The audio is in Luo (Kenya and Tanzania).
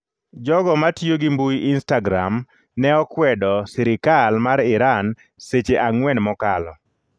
Jogo matiyo gi mbui instagram ne okwedo sirikal mar Iran seche ang'wen mokalo